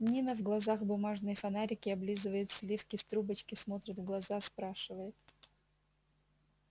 нина в глазах бумажные фонарики облизывает сливки с трубочки смотрит в глаза спрашивает